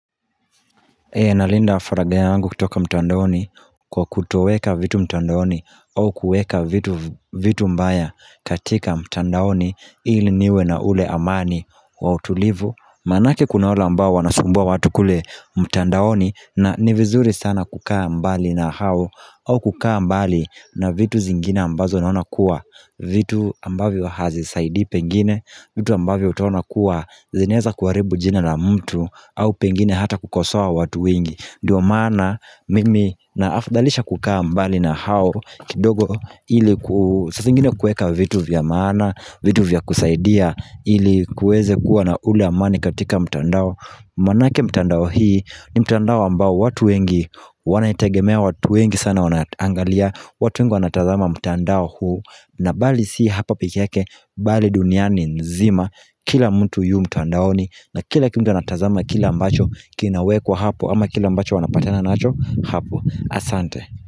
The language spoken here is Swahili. Ninalinda faragha yangu kutoka mtandaoni kwa kutoweka vitu mtandaoni au kuweka vitu vitu mbaya katika mtandaoni ili niwe na ule amani wa utulivu Maanake kuna wale ambao wanasumbua watu kule mtandaoni na ni vizuri sana kukaa mbali na hao au kukaa mbali na vitu zingine ambazo naona kuwa vitu ambavyo hazisaidi pengine vitu ambavyo utaona kuwa zinaweza kuharibu jina la mtu au pengine hata kukosoa watu wengi ndio maana mimi naafdalisha kukaa mbali na hao kidogo ili saa zingine kuweka vitu vya maana vitu vya kusaidia ili kuweze kuwa na ule amani katika mtandao Maanake mtandao hii ni mtandao ambao watu wengi wanaitegemea watu wengi sana wanaangalia watu wengi wanatazama mtandao huu na bali si hapa pekebyake bali duniani nzima Kila mtu yu mtandaoni na kila mtu wanatazama kila ambacho kinawekwa hapo ama kila ambacho wanapatana nacho hapo. Asante.